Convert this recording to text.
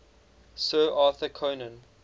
sir arthur conan